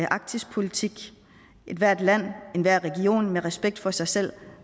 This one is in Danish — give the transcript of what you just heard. arktispolitik ethvert land enhver region med respekt for sig selv